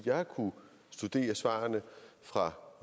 jeg har kunnet studere svarene fra